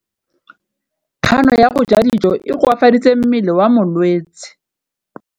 Kganô ya go ja dijo e koafaditse mmele wa molwetse.